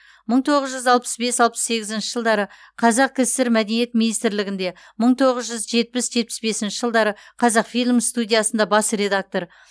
мың тоғыз жүз алпыс бес алпыс сегізінші жылдары қазкср мәдениет министрлігінде мың тоғыз жүз жетпіс жетпіс бесінші жылдары қазақфильм студиясында бас редактор